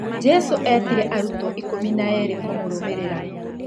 Jesu etire aruto ikũmi na erĩ kũmũrũmĩrĩra.